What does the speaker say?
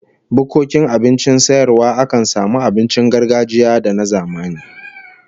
Bukkokin abincin sayarwa akan samu abincin gargajiya da na zamani